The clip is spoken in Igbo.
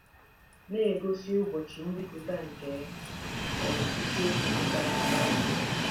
Na-egosi ụbọchị mbipụta nke um isiokwu pụtara BIBLE